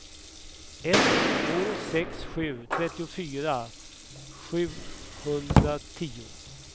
ett två sex sju trettiofyra sjuhundratio